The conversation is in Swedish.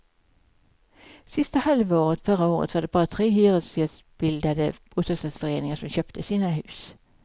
Sista halvåret förra året var det bara tre hyresgästbildade bostadsrättsföreningar som köpte sina hus.